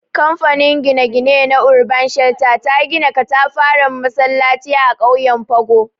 Kamfanin gine-gine na Urban Shelter, ta gina katafaren masallaci a ƙauyen Pago.